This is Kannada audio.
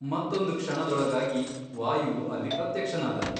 ಮತ್ತೊಂದು ಕ್ಷಣದೊಳಗಾಗಿ ವಾಯುವು ಅಲ್ಲಿ ಪ್ರತ್ಯಕ್ಷನಾದನು.